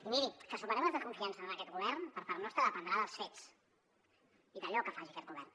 i miri que superem les desconfiances en aquest govern per part nostra dependrà dels fets i d’allò que faci aquest govern